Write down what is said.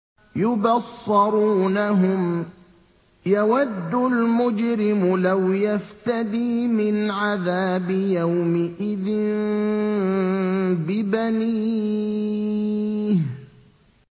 يُبَصَّرُونَهُمْ ۚ يَوَدُّ الْمُجْرِمُ لَوْ يَفْتَدِي مِنْ عَذَابِ يَوْمِئِذٍ بِبَنِيهِ